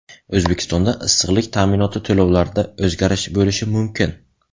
O‘zbekistonda issiqlik ta’minoti to‘lovlarida o‘zgarish bo‘lishi mumkin.